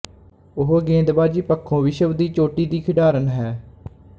ਉਹ ਗੇਦਬਾਜੀ ਪੱਖੋਂ ਵਿਸ਼ਵ ਦੀ ਚੋਟੀ ਦੀ ਖਿਡਾਰਨ ਹੈ